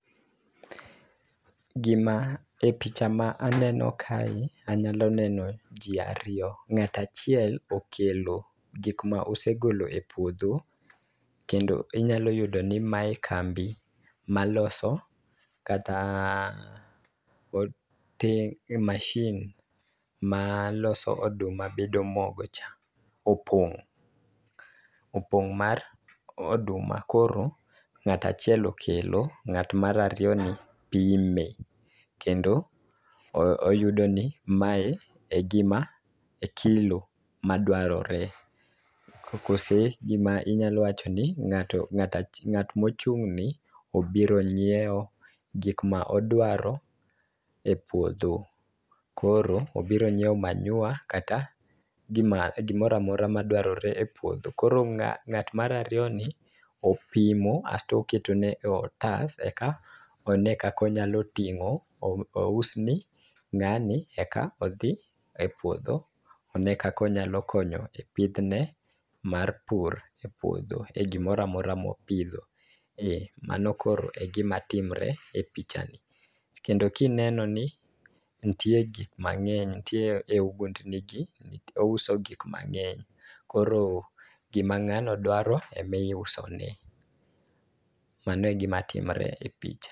Gima e picha ma aneno kani anyalo neno jii ariyo . Ng'at achiel okelo gik ma osegolo e puodho kendo inyalo yudo ni mae kambi maloso kata e mashin ma loso oduma bedo mogo cha opong'. Opong' mar oduma koro ng'atachiel okelo ng'at mar ariyo ni pime kendo oyudo ni mae e gima e kilo madwarore. Kose gima inyalo wacho ni ng'ato ng'at mochung'ni obiro ng'iewo gik modwaro e puodho , Koro obiro nyiewo manyiwa kata gima gimoramora madwarore e puodho koro ng'at mar ariyo ni opimo asto keto ne otas eka one kako nyalo ting'o ous ne ng'ani eka odhi e puodho one kaka onyalo konyo epidhne mar pur opuodho e gimoramora mopidho, mano koro e gima timre e picha ni . Kendo kineno ni ntie gik mang'eny ntie e ogundni gi iuso gik mang'eny koro gima ng'ano dwaro ema iuso ne mano e gima timre e picha ni.